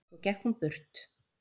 Svo gekk hún burt.